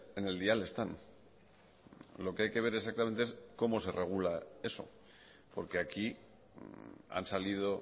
en el dial están lo que hay que ver exactamente es cómo se regula eso porque aquí han salido